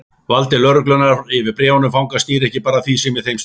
Vald lögreglunnar yfir bréfum fanga snýr ekki bara að því sem í þeim stendur.